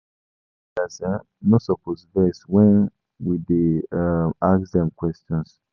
Spiritual leaders um no suppose vex wen we dey um ask dem questions.